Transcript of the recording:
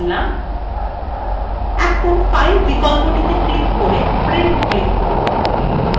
এখন file বিকল্পটি click করে print click করুন